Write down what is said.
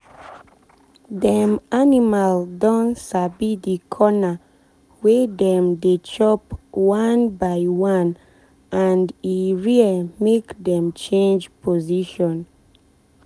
dem animal don sabi the corner wey dem dey chop one by one and e rare make dem change position.